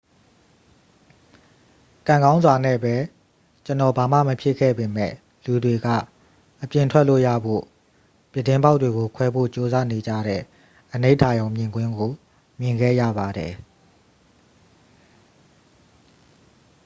"""ကံကောင်းစွာနဲ့ပဲ ကျွန်တော် ဘာမှမဖြစ်ခဲ့ပေမယ့် ၊ လူတွေက အပြင်ထွက်လို့ရဖို့ ပြတင်းပေါက်တွေကိုခွဲဖို့ကြိုးစားနေကြတဲ့ အနိဋာရုံမြင်ကွင်းကို မြင်ခဲ့ရပါတယ်။